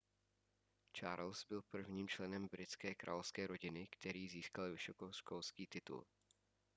charles byl prvním členem britské královské rodiny který získal vysokoškolský titul